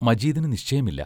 മജീദിനു നിശ്ചയമില്ല.